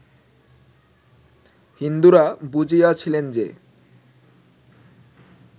হিন্দুরা বুঝিয়াছিলেন যে